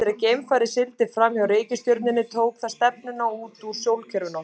Eftir að geimfarið sigldi fram hjá reikistjörnunni tók það stefnuna út úr sólkerfinu okkar.